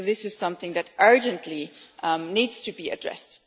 This is something that urgently needs to be addressed.